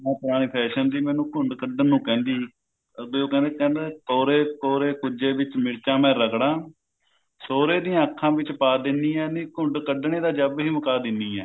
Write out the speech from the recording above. ਮਾਂ ਪੁਰਾਣੇ fashion ਦੀ ਮੈਨੂੰ ਘੁੰਡ ਕੱਢਣ ਨੂੰ ਕਹਿੰਦੀ ਬੀ ਉਹ ਕਹਿੰਦੀ ਕੋਰੇ ਕੋਰੇ ਕੁੰਝੇ ਵਿੱਚ ਮਿਰਚਾਂ ਮੈਂ ਰਗੜਾਂ ਸਹੁਰੇ ਦੀਆਂ ਅੱਖਾਂ ਵਿੱਚ ਪਾ ਦਿੰਨੀ ਆ ਨੀ ਘੁੰਡ ਕੱਢਣੇ ਦਾ ਜੱਬ ਹੀ ਮੁੱਕਾ ਦਿੰਨੀ ਆ